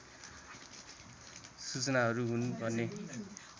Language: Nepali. सूचनाहरू हुन् भन्ने